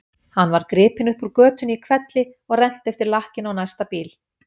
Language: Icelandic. Hann var gripinn upp úr götunni í hvelli og rennt eftir lakkinu á næsta bíl.